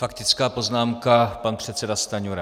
Faktická poznámka, pan předseda Stanjura.